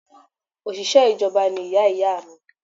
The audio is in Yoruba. Òṣìṣẹ́ ìjọba ni iyá iyá à mi